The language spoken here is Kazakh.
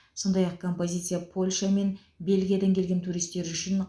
сондай ақ композиция польша мен бельгиядан келген туристер үшін